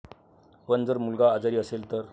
पण जर मुलगा आजारी असेल तर?